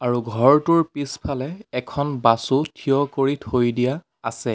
আৰু ঘৰটোৰ পিছফালে এখন বাছও থিয় কৰি থৈ দিয়া আছে।